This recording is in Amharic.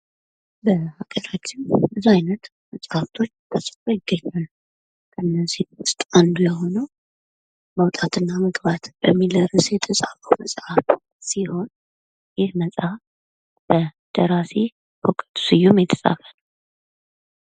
በሃገራችን ብዙ አይነት መጽሃፍቶች ተጽፈው ይገኛሉ ከነዚህም ዉስጥ አንዱ የሆነው መውጣት እና መግባት በሚል የተጻፈው መጽሃፍ ሲሆን ይህ መጽሃፍ በደራሲ በእውቀቱ ስዩም የተጻፈ ነው።